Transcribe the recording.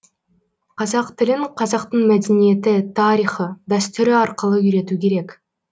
қазақ тілін қазақтың мәдениеті тарихы дәстүрі арқылы үйрету керек